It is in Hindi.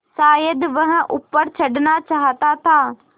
शायद वह ऊपर चढ़ना चाहता था